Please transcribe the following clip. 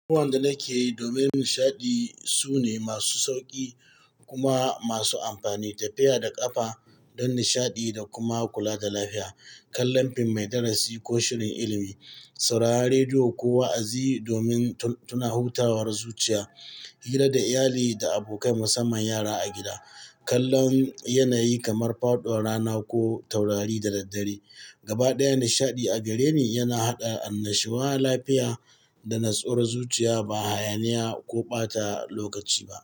Duk wanda nake yi, domin nishaɗi sune masu sauƙi kuma masu amfani. Tafiya da ƙafa don nishaɗi da kuma kula da lafiya, kallon fim mai darasi ko shirin ilimi, sauraron rediyo ko wa'azi domin tuna hutawar zuciya, hira da iyali da abokai musamman yara a gida, kallon yanayi kamar faɗuwar rana ko taurari da daddare. Gabaɗaya nishaɗi a gare ni yana haɗa annashowa lafiya da nutsuwar zuciya ba hayaniya ko ɓata lokaci ba.